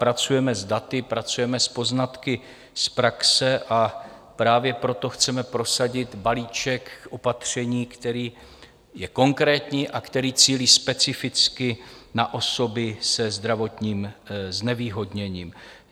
Pracujeme s daty, pracujeme s poznatky z praxe, a právě proto chceme prosadit balíček opatření, který je konkrétní a který cílí specificky na osoby se zdravotním znevýhodněním.